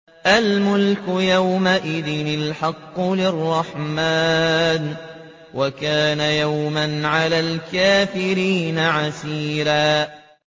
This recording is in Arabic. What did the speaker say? الْمُلْكُ يَوْمَئِذٍ الْحَقُّ لِلرَّحْمَٰنِ ۚ وَكَانَ يَوْمًا عَلَى الْكَافِرِينَ عَسِيرًا